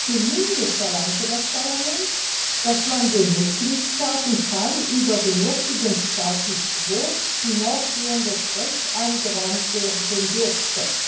Zumindest verlangte das Parlament, dass den Mitgliedstaaten kein über den jetzigen Status quo hinausgehendes Recht eingeräumt werden dürfte.